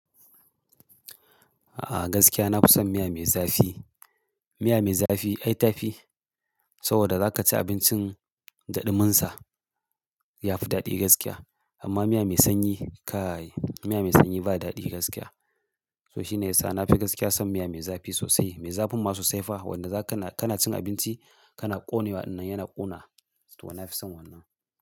A'a gaskiya na fi son miya me zafi. Miya mai zafi ai ta fi, saboda za ka ci abincin da ɗuminsa, ya fi daɗi gaskiya. Amma miya mai sanyi kai, miya mai sanyi ba daɗi gaskiya. So shine yasa na fi gaskiya son miya mai zafi sosai. Me zafin ma sosai fa, wanda zaka na, kana cin abinci kana ƙone wa dannan yana ƙona. To na fi son wannan.